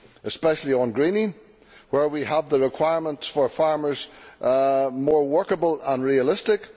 especially on greening, where we have requirements for farmers that are more workable and realistic.